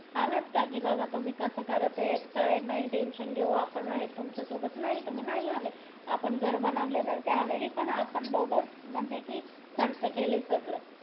आलात का बाबा काय तुम्ही कास करत ये काय नाय टेन्शन घेऊ आपण आहे तुमच्या सोबत नाही तुम्ही नाही आलात आपण घर बनवले तर त्या वेळी पण आपण दोघ चा म्हणजे कि खर्च केले सगळे